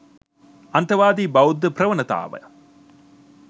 අන්තවාදී බෞද්ධ ප්‍රවණතාව